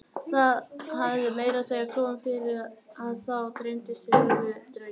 Það hafði meira að segja komið fyrir að þá dreymdi sömu drauma.